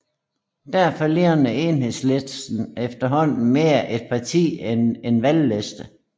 Derfor ligner Enhedslisten efterhånden mere et parti end en valgliste